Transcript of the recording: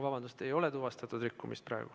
Vabandust, ei ole tuvastatud rikkumist.